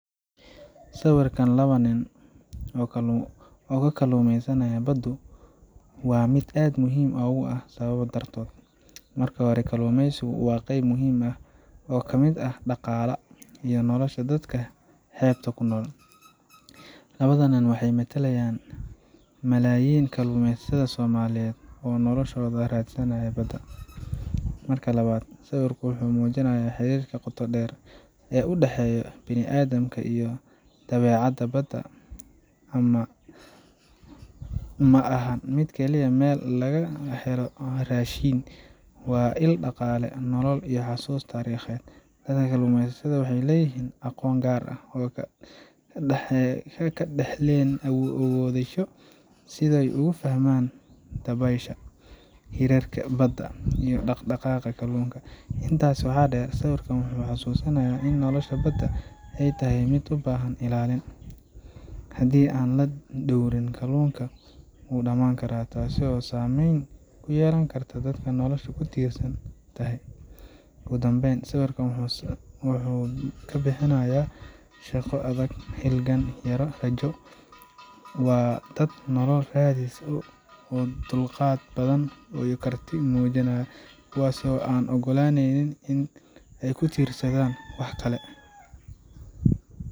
Sawirkan laba nin oo ka kalluumaysanaya baddu waa mid aad muhiim u ah sababa dartood. Marka hore, kalluumeysigu waa qayb muhiim ah oo ka mid ah dhaqaala iyo nolosha dadka xeebaha ku nool. Labada nin waxay metelayaan malaayiin kalluumeysatada Soomaaliyeed oo noloshooda ka raadsadnaya badda. Marka labaad, sawirku wuxuu muujinayaa xiriirka qotoda dheer ee u dhexeeya bini’aadamka iyo dabeecadda. Badda ma ahan mid kaliya meel laga helo raashin, waa il dhaqaale, nolol, iyo xasuus taariikheed. Dadka kalluumeysata waxay leeyihiin aqoon gaar ah oo ay ka dhaxleen awoowayaashood sida ay uga fahmaan dabaysha, hirarka badda, iyo dhaq dhaqaaqa kalluunka. Intaas waxaa dheer, sawirkan wuxuu xasuusin in nolosha badda ay tahay mid u baahan ilaalin. Haddii aan la dhowrin, kalluunka wuu dhamaan karaa, taas oo saameyn ku yeelan karta dadka noloshoodu ku tiirsan tahay. Ugu dambeyntii, sawirkan wuxuu sawir ka bixinayaa shaqo adag, halgan, iyo rajo. Waa dad nolol raadis ah, leh dulqaad iyo karti, kuwaas oo aan oggolayn in ay ku tiirsanaadaan wax kale